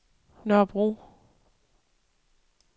Nørrebro